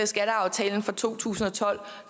skatteaftalen fra to tusind og tolv